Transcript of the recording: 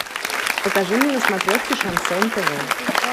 покажи мне на смотрешке шансон тв